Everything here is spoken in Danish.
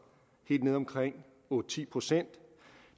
helt nede omkring otte ti procent